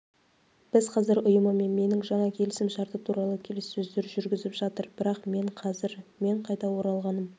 біз қазір ұйымымен менің жаңа келісімшарты туралы келіссөздер жүргізіп жатыр бірақ мен қазір мен қайта оралғаным